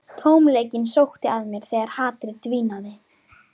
Tómleikinn sótti að mér þegar hatrið dvínaði.